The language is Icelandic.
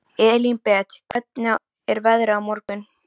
Elínbet, hvernig er veðrið á morgun?